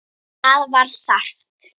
Það var þarft.